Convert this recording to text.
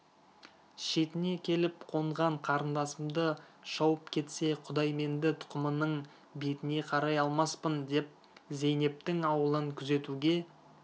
шетіне келіп қонған қарындасымды шауып кетсе құдайменді тұқымының бетіне қарай алмаспын деп зейнептің ауылын күзетуге